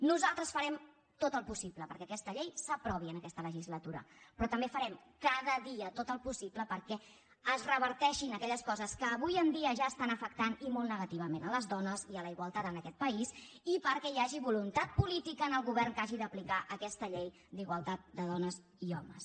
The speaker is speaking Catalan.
nosaltres farem tot el possible perquè aquesta llei s’aprovi en aquesta legislatura però també farem cada dia tot el possible perquè es reverteixin aquelles coses que avui en dia ja estan afectant i molt negativament les dones i la igualtat en aquest país i perquè hi hagi voluntat política en el govern que hagi d’aplicar aquesta llei d’igualtat de dones i homes